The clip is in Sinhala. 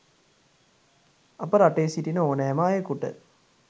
අප රටේ සිටින ඕනෑම අයකුට